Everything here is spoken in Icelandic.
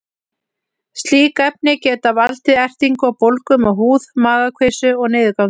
Slík efni geta valdið ertingu og bólgum á húð, magakveisu og niðurgangi.